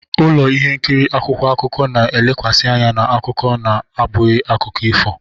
Ụlọ ihe nkiri akwụkwọ akụkọ na-elekwasị anya na akụkọ na-abụghị akụkọ ifo.